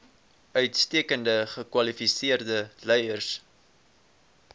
uitstekend gekwalifiseerde leiers